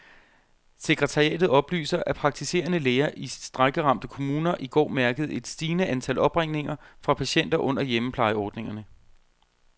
Sekretariatet oplyser, at praktiserende læger i strejkeramte kommuner i går mærkede et stigende antal opringninger fra patienter under hjemmeplejeordningerne.